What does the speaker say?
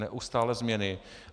Neustálé změny.